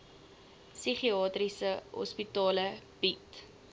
psigiatriese hospitale bied